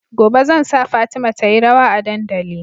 Gobe zan sa fatima tayi rawa a dandali